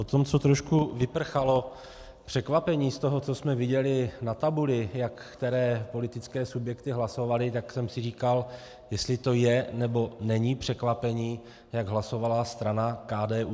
Po tom, co trošku vyprchalo překvapení z toho, co jsme viděli na tabuli, jak které politické subjekty hlasovaly, tak jsem si říkal, jestli to je, nebo není překvapení, jak hlasovala strana KDU.